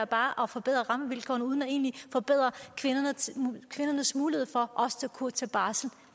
bare at forbedre rammevilkårene uden egentlig at forbedre kvindernes mulighed for også at kunne tage barsel